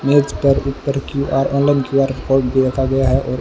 मेज पर ऊपर क्यू_आर ऑनलाइन क्यू_आर कोड भी रखा गया है और--